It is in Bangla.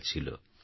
ভূমিকাছিল